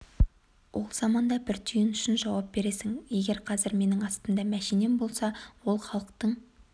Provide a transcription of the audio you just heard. ол заманда бір тиын үшін жауап бересің егер қазір менің астымда мәшинем болса ол халықтың